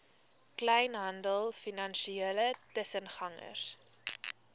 kleinhandel finansiële tussengangers